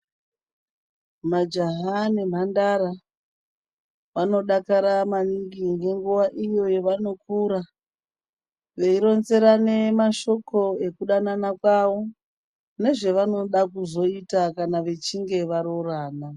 Majaha nemhandara vanodakara maningi ngenguva iyo yavanokura. Veironzerane mashoko ekudanana kwavo nezvavanoda kuzoita kana vachinge varorana.